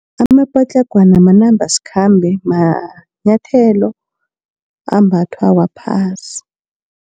Amapatlagwana manambasikhambe, manyathelo ambathwa waphasi.